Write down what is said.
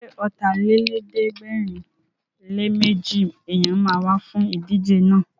Ṣé Ọ̀tàlélẹ̀ẹ́dẹ́gbẹ̀rinléméjì èèyàn ma wá fún ìdíje náà?